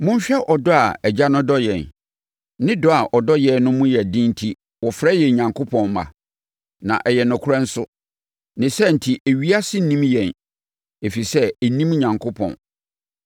Monhwɛ ɔdɔ a Agya no dɔ yɛn. Ne dɔ a ɔdɔ yɛn no mu den enti wɔfrɛ yɛn Onyankopɔn mma. Na ɛyɛ nokorɛ nso. Ne saa enti ewiase nnim yɛn ɛfiri sɛ ɛnnim Onyankopɔn.